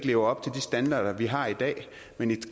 levet op til de standarder vi har i dag men i